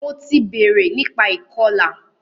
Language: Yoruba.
Mo ti bèrè nípa ìkọlà.